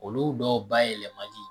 Olu dɔw bayɛlɛmani